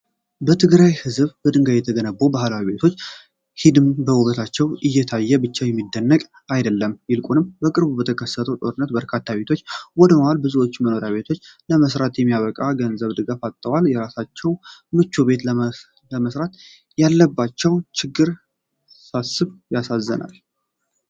ትግራይ ሕዝብ በድንጋይ የተገነቡት ባህላዊ ቤቶች ሒድሞ ውበታቸው እየታየ ብቻ የሚደነቅ አይደለም። ይልቁንም በቅርቡ በተከሰተው ጦርነት በርካታ ቤቶች ወድመዋል፤ ብዙዎችም የመኖሪያ ቤት ለመስራት የሚበቃ ገንዘብና ድጋፍ አጥተዋል። የራሳቸው ምቹ ቤት ለመስራት ያለባቸውን ችግር ሳስብ ያሳዝነኛል።